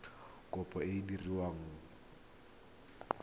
kopo e e diragadiwa ka